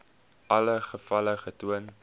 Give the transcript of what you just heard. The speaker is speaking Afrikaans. alle gevalle getoon